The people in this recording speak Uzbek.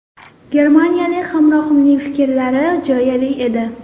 Germaniyalik hamrohimning fikrlari jo‘yali edi.